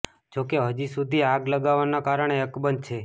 જો કે હજી સુધી આગ લાગવાનું કારણે અકબંધ છે